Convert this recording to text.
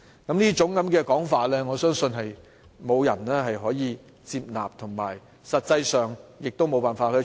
這種說法，我相信沒有人會接納，而實際上亦行不通。